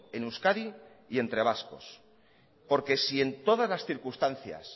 en euskadi y entre vascos porque si en todas las circunstancias